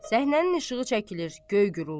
Səhnənin işığı çəkilir, göy guruldayır.